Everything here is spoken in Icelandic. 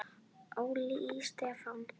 Óli Stef.